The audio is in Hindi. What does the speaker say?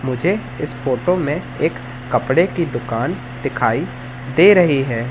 मुझे इस फोटो में एक कपड़े की दुकान दिखाई दे रही है।